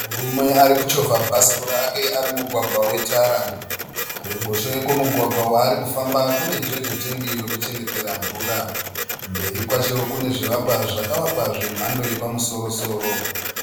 Murume ari kuchovha bhasikoro rake ari mumugwagwa wetara. Kuruboshwe kwemugwagwa waari kufamba kune jojo tengi rekuchengetera mvura. Mberi kwacho kune zvivakwa zvakavakwa zvemhando yepamusoro soro.